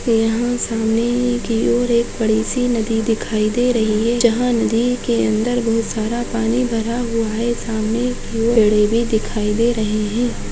यहाँ सामने की ओर एक बड़ी -सी नदी दिखाई दे रही है जहाँ नदी के अंदर बहुत सारा पानी भरा हुआ है सामने दिखाई दे रही है।